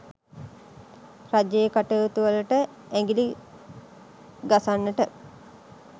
රජයේ කටයුතු වලට ඇඟිලි ගසන්නට